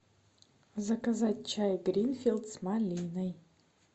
заказать чай гринфилд с малиной